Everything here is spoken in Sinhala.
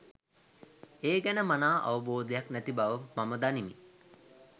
ඒ ගැන මනා අවබෝධයක් නැති බව මම දනිමි.